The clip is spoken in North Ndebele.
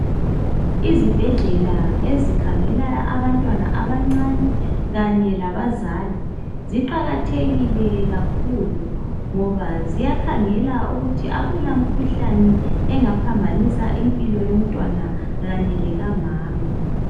Izibhedlela ezikhangela abantwana abancane kanye labazali ziqakathekile kakhulu ngoba ziyakhangela ukuthi akula mkhuhlane engaphambanisa impilo yomntwana kanye lekamama.